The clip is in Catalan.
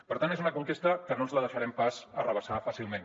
per tant és una conquesta que no ens la deixarem pas arrabassar fàcilment